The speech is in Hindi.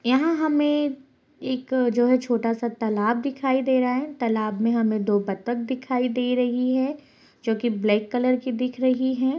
यहाँ हमे एक जो है छोटा सा तालाब दिखाई दे रहा है | तालाब में हमें दो बत्तक दिखाई दे रही है जोकि ब्लैक कलर की दिख रही हैं।